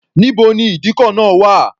Níbo ni ìdíkọ̀ náà wà?